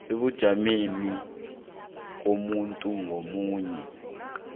ebujameni bomuntu ngamunye